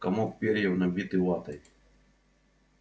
комок перьев набитый ватой